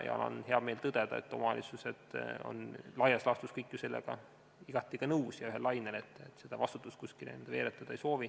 On hea meel tõdeda, et omavalitsused on laias laastus kõik sellega igati nõus ja ühel lainel ega soovi seda vastutust kuskile veeretada.